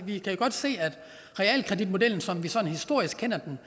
vi kan jo godt se at realkreditmodellen som vi sådan historisk kender den